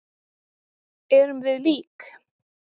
Erum við lík?